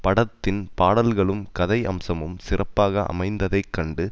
படத்தின் பாடல்களும் கதை அம்சமும் சிறப்பாக அமைந்ததைக் கண்டு